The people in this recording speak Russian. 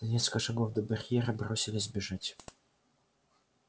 за несколько шагов до барьера бросились бежать